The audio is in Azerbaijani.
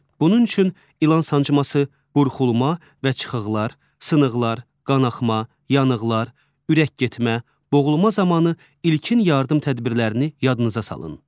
Bunun üçün ilan sancması, burxulma və çıxıqlar, sınıqlar, qanaxma, yanıqlar, ürək getmə, boğulma zamanı ilkin yardım tədbirlərini yadınıza salın.